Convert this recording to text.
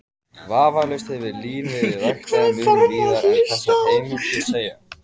Vafalaust hefur lín verið ræktað mun víðar en þessar heimildir segja.